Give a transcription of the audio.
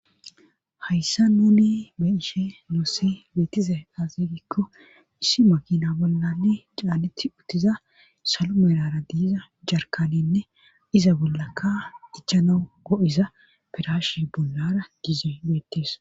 Hayssa nuni be ishe noose beetize aazey giikko issi makina bollale caaletti uttiza salo meerara diiza jarkanenne iza bollakka dichana go7isa firashe bollara giize beettees.